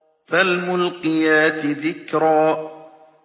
فَالْمُلْقِيَاتِ ذِكْرًا